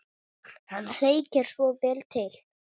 Hann þekkir svo vel til.